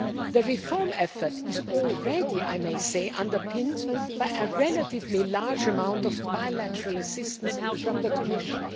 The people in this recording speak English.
The reform effort is already underpinned by a relatively large amount of bilateral assistance from the Commission.